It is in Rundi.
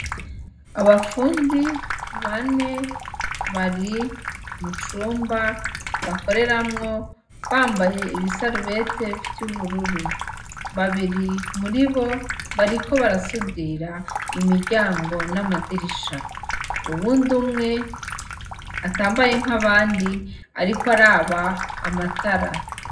Abafundi bane bari mucumba bakoreramwo bambaye ibisarubete vy'ubururu, babiri muribo bariko barasudira imiryango n'amadirisha, uwundi umwe atambaye nkabandi ariko araba amatara.